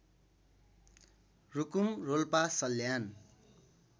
Rukum Rolpa Salyan